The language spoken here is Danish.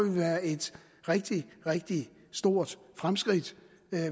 være et rigtig rigtig stort fremskridt